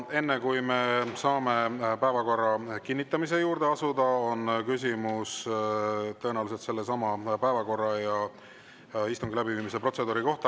Enne kui me saame päevakorra kinnitamise juurde asuda, on küsimus tõenäoliselt sellesama päevakorra ja istungi läbiviimise protseduuri kohta.